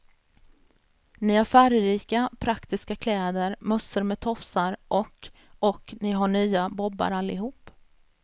Ni har färgrika, praktiska kläder, mössor med tofsar och och ni har nya bobbar allihop.